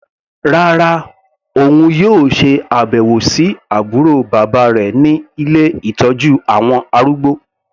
Rárá, òun yóò ṣe àbẹ̀wò sí àbúrò bàbá rẹ̀ ní ilé ìtọ́jú àwọn arúgbó.